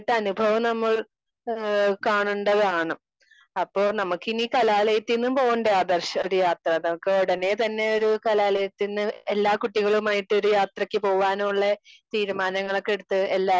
Speaker 2 നേരിട്ട അനുഭവം നമ്മൾ കാണേണ്ടതാണ്. അപ്പൊ നമുക്കിനി കലാലയത്തിന് പോണ്ടേ ആദർശ് ഒരു യാത്ര? നമുക്ക് ഉടനെ തന്നെയൊരു കലാലയത്തിന് എല്ലാ കുട്ടികളുമായിട്ട് ഒരു യാത്രക്ക് പോകാനോ ഉള്ള തീരുമാനങ്ങളൊക്കെ എടുത്ത്.